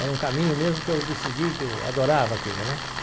Era um caminho mesmo que eu decidi, que eu adorava aquilo, né?